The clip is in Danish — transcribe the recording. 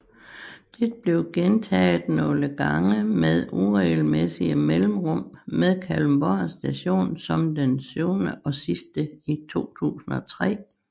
Det blev gentaget nogle gange med uregelmæssige mellemrum med Kalundborg Station som den syvende og sidste i 2003